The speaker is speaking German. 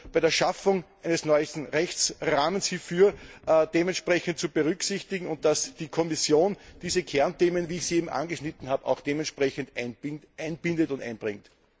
bei der Schaffung eines neuen Rechtsrahmens hierfür dementsprechend berücksichtigt wird und dass die Kommission diese Kernthemen, wie ich sie eben angeschnitten habe, auch dementsprechend einbindet und einbringt.